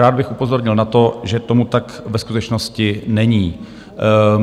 Rád bych upozornil na to, že tomu tak ve skutečnosti není.